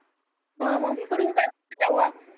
. अं मग करून तेव्हा